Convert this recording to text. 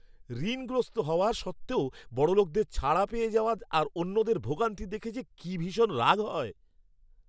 ঋণগ্রস্ত হওয়া সত্ত্বেও বড়লোকদের ছাড়া পেয়ে যাওয়া আর অন্যদের ভোগান্তি দেখে যে কি ভীষণ রাগ হয়!